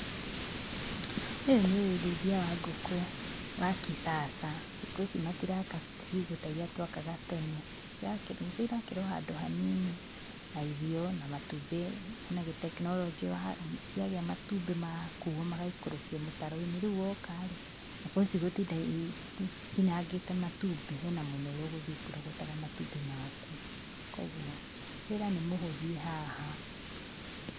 Ũyũ nĩũrĩithia wa ngũkũ wa kisasa. Thikũ ici matiraka ciugũ tairia twakaga tene. Cirakĩrwo, ngũkũ ĩrakĩrwo ohandũ hanini ha irio, na matumbĩ. Hena tekinoronjĩ ciagĩa matumbĩ magakuo magaikũrũkio mũtaro-inĩ, rĩu wokarĩ citigũkorwo ikinyangĩte matumbĩ, hena mwena ũrĩa ũgũthiĩ ũkĩrogotaga matumbĩ maku. Kwogwo, wĩra nĩmũthie haha.